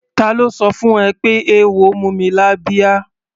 Ta ló sọ fún ẹ pé eéwo mú mi lábíá?